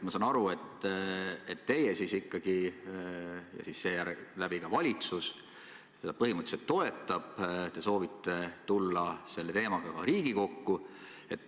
Ma saan aru, et teie ja seeläbi kogu valitsus seda põhimõtteliselt toetab ja te soovite tulla selle teemaga Riigikokku.